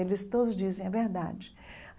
Eles todos dizem a verdade.